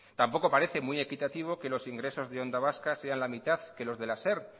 tampoco parece muy equitativo que los ingresos de onda vasca sea la mitad que los de la ser